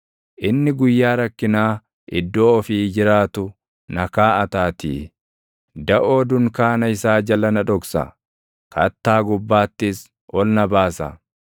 Inni guyyaa rakkinaa iddoo ofii jiraatu na kaaʼataatii; daʼoo dunkaana isaa jala na dhoksa; kattaa gubbaattis ol na baasa.